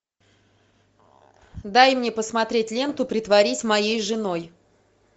дай мне посмотреть ленту притворись моей женой